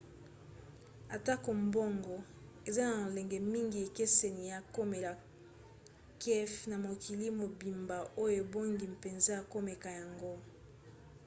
atako bongo eza na lolenge mingi ekeseni ya komela kafe na mokili mobimba oyo ebongi mpenza komeka yango